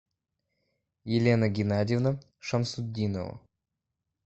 елена геннадьевна шамсутдинова